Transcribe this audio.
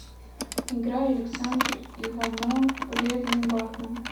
играй александр иванов бледный бармен